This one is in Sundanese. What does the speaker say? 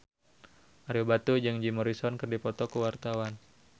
Ario Batu jeung Jim Morrison keur dipoto ku wartawan